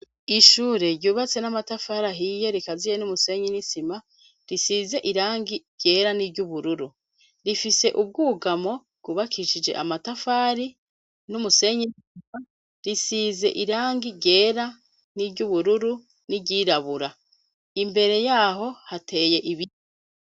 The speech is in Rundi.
Ishure ryubatse n'amatafari ahiye rikaziye n'umusenyi n'isima risize irangi ryera n'iry'ubururu, rifise ubwugamo bwubakishije amatafari n'umusenyi n'isima risize irangi ryera n'iry'ubururu n'iryirabura. Imbere yaho hateye ibiti.